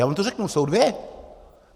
Já vám to řeknu, jsou dvě.